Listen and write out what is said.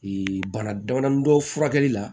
bana damadɔni dɔ furakɛli la